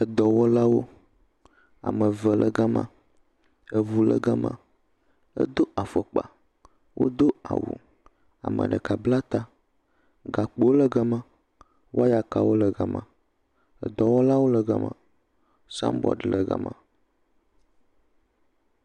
Edɔwɔlawo. Ame eve le ga ma. Eŋu le ga ma. Edo afɔkpa. Wodo awu, ame ɖeka bla ta. Gakpowo le ga ma. Wɔyakawo le ga ma. Edɔwɔlawo le ga ma. Sabɔd le ga ma.